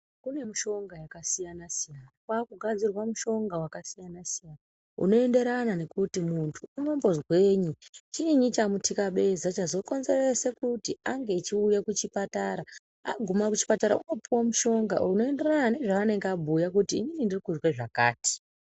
Kune mishonga yakasiyana siyana kwakugadzirwa mishonga yakasiyana siyana unoenderana nekuti muntu unombozwei chini chamutikabeza chazokonzeresa kuti ange echiuya kuchipatara agume kuchipatara unopuwa mushonga unoenderana nezvaanenge abhuya kuti inini ndiri kuzwe zvakati.